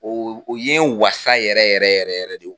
O o ye n wasa yɛrɛ yɛrɛ yɛrɛ yɛrɛ de